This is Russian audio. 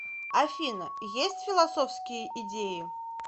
афина есть философские идеи